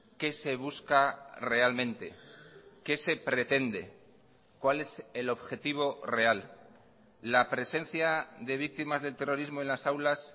qué se busca realmente qué se pretende cuál es el objetivo real la presencia de víctimas del terrorismo en las aulas